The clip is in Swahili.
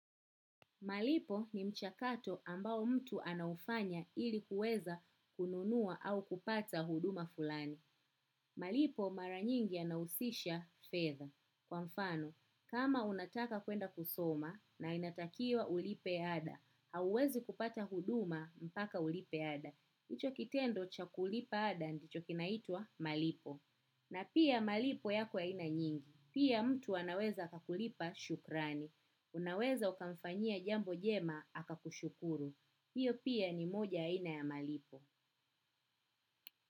Malipo ni mchakato ambao mtu anaufanya ili kuweza kununua au kupata huduma fulani. Malipo mara nyingi yanahusisha fedha. Kwa mfano, kama unataka kwenda kusoma na inatakiwa ulipe ada, hauwezi kupata huduma mpaka ulipe ada. Ito kitendo cha kulipa ada ndicho kinaitwa malipo. Na pia malipo yako ya aina nyingi. Pia mtu anaweza akakulipa shukurani. Unaweza ukamfanyia jambo jema akushukuru. Hiyo pia ni moja ya aina ya malipo.